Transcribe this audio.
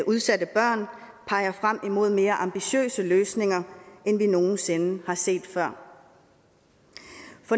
udsatte børn peger frem imod mere ambitiøse løsninger end vi nogensinde har set før